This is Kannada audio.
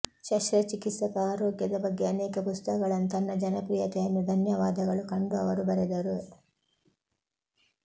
ಶಸ್ತ್ರಚಿಕಿತ್ಸಕ ಆರೋಗ್ಯದ ಬಗ್ಗೆ ಅನೇಕ ಪುಸ್ತಕಗಳನ್ನು ತನ್ನ ಜನಪ್ರಿಯತೆಯನ್ನು ಧನ್ಯವಾದಗಳು ಕಂಡು ಅವರು ಬರೆದರು